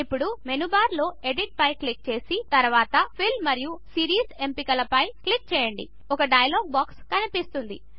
ఇప్పుడు మెనూబార్లో ఎడిట్ పై క్లిక్ చేసి తరువాత ఫిల్ మరియు సీరీస్ ఎంపికల క్లిక్ చేయండి ఒక డైలాగ్ బాక్స్ కనిపిస్తుంది